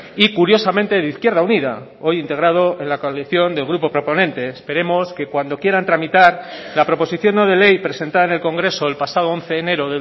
y curiosamente de izquierda unida hoy integrado en la coalición del grupo proponente esperemos que cuando quieran tramitar la proposición no de ley presentada en el congreso el pasado once de enero